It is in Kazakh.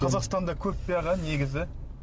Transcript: қазақстанда көп пе аға негізі